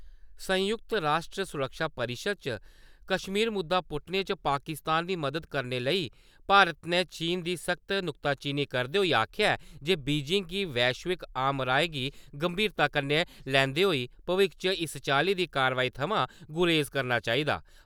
संयुक्त राश्ट्र सुरक्षा परिशद् च कश्मीर मुद्दा पुट्टने च पाकिस्तान दी मदाद करने लेई भारत ने चीन दी सख्त नुक्ता चीनी करदे होई आखेआ ऐ जे बीजिंग गी वैश्विक आमराय गी गंभीरता कन्नै लैंदे होई भविक्ख च इस चाल्ली दी कार्यवाही थमां गुरेज करना चाहिदा।